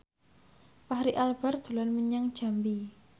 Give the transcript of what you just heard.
Fachri Albar dolan menyang Jambi